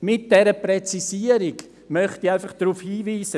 Mit dieser Präzisierung möchte ich einfach darauf hinweisen: